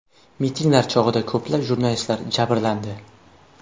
Mitinglar chog‘ida ko‘plab jurnalistlar jabrlandi .